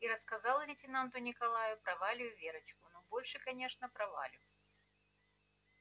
и рассказал лейтенанту николаю про валю и верочку но больше конечно про валю